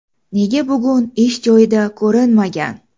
Nega bugun ish joyida ko‘rinmagan?